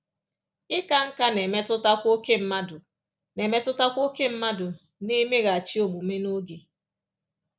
Ịka nká na-emetụtakwa ókè mmadụ na-emetụtakwa ókè mmadụ na-emeghachị omume n’oge.